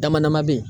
Dama dama be yen